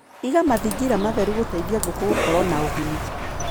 Iga mathingira matheru gũteithia ngũkũ gũkorwo na ũgima.